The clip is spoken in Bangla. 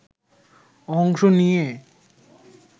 অংশ নিয়ে